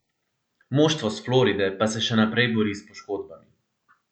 Moštvo s Floride pa se še naprej bori s poškodbami.